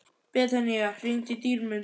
Betanía, hringdu í Dýrmund.